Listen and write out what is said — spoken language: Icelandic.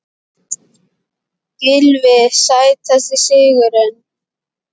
Gylfi Sætasti sigurinn?